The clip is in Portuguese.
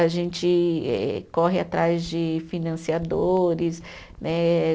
A gente corre atrás de financiadores, né?